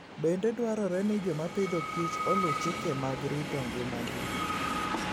Bende dwarore ni joma Agriculture and Food oluw chike mag rito ngimagi.